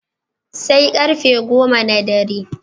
Sai ƙarfe go goma na dare.